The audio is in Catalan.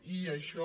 i això